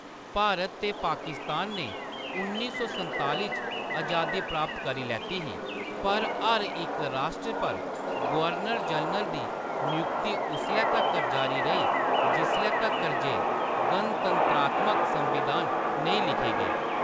भारत ते पाकिस्तान ने उन्नी सौ संताली च अजादी प्राप्त करी लैती ही, पर हर इक राश्ट्र पर गवर्नर-जनरल दी नयुक्ति उसलै तक्कर जारी रेही जिसलै तक्कर जे गणतंत्रात्मक संविधान नेईं लिखे गे।